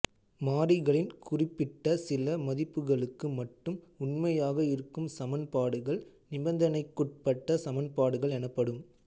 மாறிகளின் குறிப்பிட்ட சில மதிப்புகளுக்கு மட்டும் உண்மையாக இருக்கும் சமன்பாடுகள் நிபந்தனைக்குட்பட்ட சமன்பாடுகள் எனப்படும்